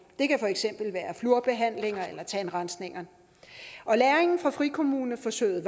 det kan for eksempel være flourbehandling eller tandrensning og læringen fra frikommuneforsøget er